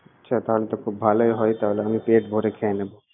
আচ্ছা, তাহলে তো খুব ভালোই হয় তাহলে, আমি পেট ভরে খেয়ে নেবো।